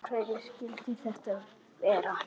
Af hverju skyldi þetta vera?